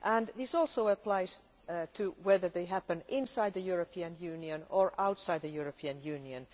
This also applies whether they happen inside the European Union or outside the European Union.